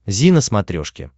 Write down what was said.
зи на смотрешке